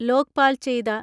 ലോക്പാൽ ചെയ്ത